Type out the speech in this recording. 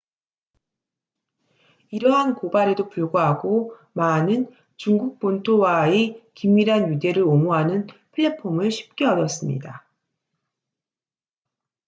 이러한 고발에도 불구하고 마는 중국 본토와의 긴밀한 유대를 옹호하는 플랫폼을 쉽게 얻었습니다